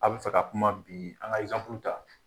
A bɛ fɛ ka kuma bin an ka exemple ta